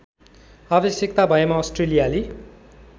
आवश्यकता भएमा अस्ट्रेलियाली